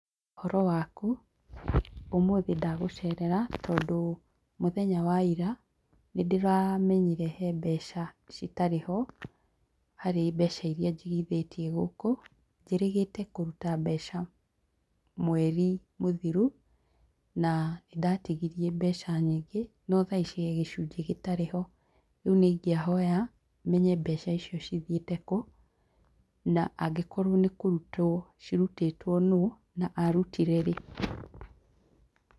Ũhoro waku? Ũmũthĩ ndagũcerera, tondũ mũthenya wa ira, nĩndĩramenyire he mbeca citarĩ ho, harĩ mbeca iria njigithĩtie gũkũ, njĩrĩgĩte kũruta mbeca mweri mũthiru, na nĩ ndatigirie mbeca nyingĩ, no thaa ici he gĩcunjĩ gĩtarĩ ho. rĩũ nĩ ingĩahoya, menye mbeca icio cithiĩte kũ, na angĩkorwo nĩ kũrutwo cirutĩtwo nũ, na arutire rĩ.